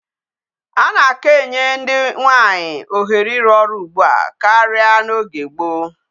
A na-aka enye ndi nwaanyi ohere iru oru ugbu a karia n'oge gboo.